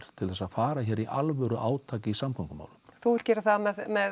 til að fara hér í alvöru átak í samgöngumálum þú vilt gera það